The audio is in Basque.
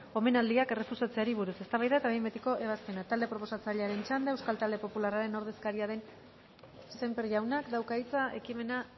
omenaldiak errefusatzeari buruz eztabaida eta behin betiko ebazpena talde proposatzailearen txanda euskal talde popularraren ordezkaria den sémper jaunak dauka hitza ekimena